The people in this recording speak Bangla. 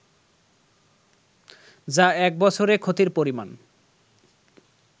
যা এক বছরে ক্ষতির পরিমাণ